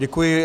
Děkuji.